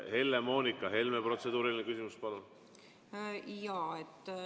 Helle-Moonika Helme, protseduuriline küsimus, palun!